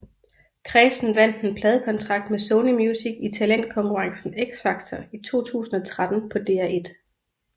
Chresten vandt en pladekontrakt med Sony Music i talentkonkurrencen X Factor 2013 på DR1